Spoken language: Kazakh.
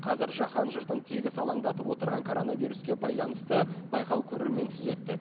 қазір жаһан жұртын тегіс алаңдатып отырған коронавируске байланысты байқау көрерменсіз өтті